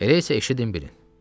Elə isə eşidin bilin.